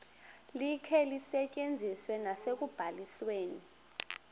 likhe lisetyenziswe nasekubalisweni